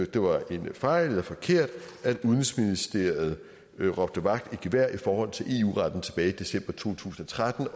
det var en fejl eller forkert at udenrigsministeriet råbte vagt i gevær i forhold til eu retten tilbage i december to tusind og tretten